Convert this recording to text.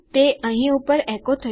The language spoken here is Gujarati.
તે અહીં ઉપર એકો થયું નથી